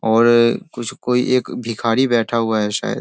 और कुछ कोई एक भिखारी बैठा हुआ है शायद।